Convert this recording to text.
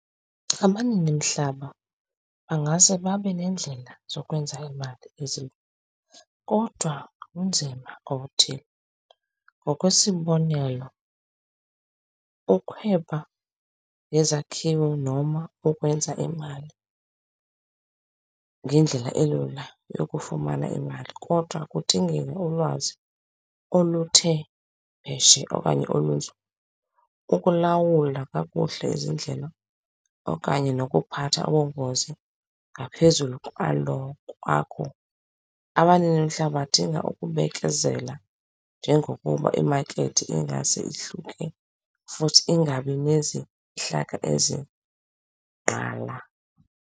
Abaninimhlaba bangase babe neendlela zokwenza imali . Kodwa ubunzima obuthile ngokwesibonelo, ukhweba nezakhiwo noma ukwenza imali ngendlela elula yokufumana imali, kodwa kudingeka ulwazi oluthe pheshe okanye olunzulu ukulawula kakuhle izindlela okanye nokuphatha ubungozi ngaphezulu kwalo, kwakho. Abaninimhlaba badinga ukubekezela njengokuba imakethi ingase ihluke futhi ingabi nezihlaka ezigqala.